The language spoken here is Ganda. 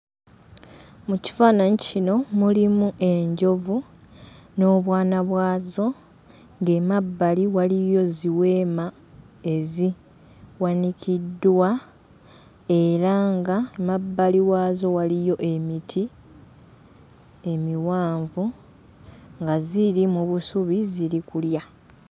Mu kifaananyi kino mulimu enjovu n'obwana bwazo ng'emabbali waliyo ziweema eziwanikiddwa era nga mu mabbali waazo waliyo emiti emiwanvu nga ziri mu busubi ziri kulya.